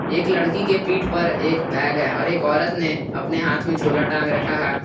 एक लड़की के पीठ पर एक बैग है और एक औरत ने अपने हाथ में झोला टांग रखा है।